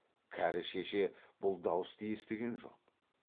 кәрі шеше бұл дауысты естіген жоқ